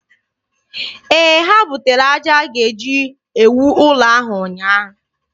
Ee, ha butere aja e ji ewu ụlọ ahụ ụnyaahụ.